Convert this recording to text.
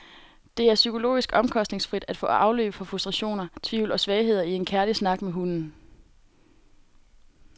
Det er psykologisk omkostningsfrit at få afløb for frustrationer, tvivl og svagheder i en kærlig snak med hunden.